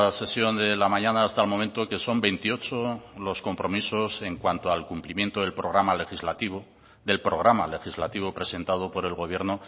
sesión de la mañana hasta el momento que son veintiocho los compromisos en cuanto al cumplimiento del programa legislativo del programa legislativo presentado por el gobierno